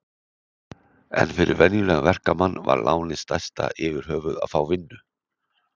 En fyrir venjulegan verkamann var lánið stærsta yfirhöfuð að fá vinnu.